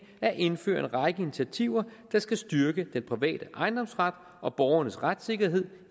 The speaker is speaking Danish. at indføre en række initiativer der skal styrke den private ejendomsret og borgernes retssikkerhed